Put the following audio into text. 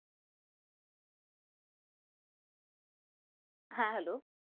হ্যাঁ Hello